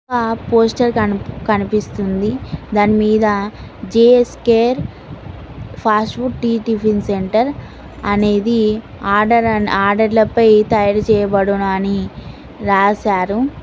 ఆ పోస్టర్ కని కనిపిస్తుంది దానిమీద జిఎస్కేర్ ఫాస్ఫుడ్ టి టిఫిన్ సెంటర్ అనేది ఆర్డర్ అండ్ ఆర్డర్లపై తయారు చేయబడును అని రాశారు.